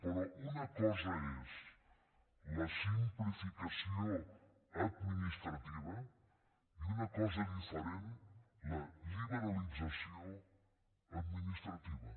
però una cosa és la simplificació administrativa i una cosa diferent la liberalització administrativa